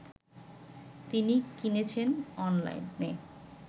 তিনি কিনেছেন অনলাইনে